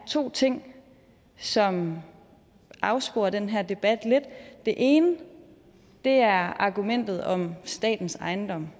to ting som afsporer den her debat lidt det ene er argumentet om statens ejendom